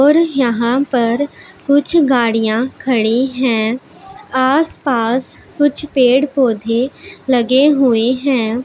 और यहां पर कुछ गाड़ियां खड़ी हैं आसपास कुछ पेड़ पौधे लगे हुए हैं।